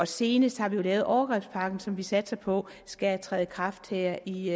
senest har vi jo lavet overgrebspakken som vi satser på skal træde i kraft her i